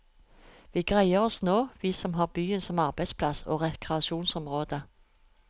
Vi greier oss nå, vi som har byen som arbeidsplass og rekreasjonsområde.